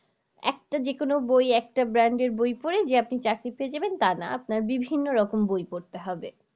একটা যে কোনো বই একটা brand এর বই পরে যে আপনি চাকরি পেয়ে যাবেন তা না আপনার বিভিন্ন রকম বই পরতে হবে